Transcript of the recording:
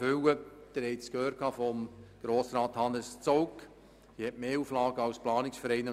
Wie Sie von Grossrat Hannes Zaugg gehört haben, hat die Regionalkonferenz mehr Auflagen zu erfüllen als ein Planungsverein.